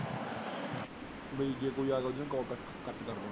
ਬਈ ਜੇ ਕੋਈ ਆਗਿਆ ਤਾਂ ਉਹਨੇ ਕਾਲ ਕੱਟ ਜਾਣਾ।